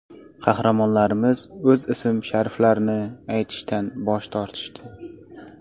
Qahramonlarimiz o‘z ism-shariflarini aytishdan bosh tortishdi.